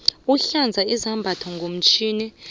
sihlanza izambatho ngomtjhini